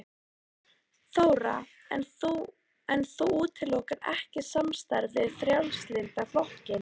Þóra: En þú útilokar ekki samstarf við Frjálslynda flokkinn?